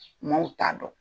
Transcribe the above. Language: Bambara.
Maaw t'a dɔn.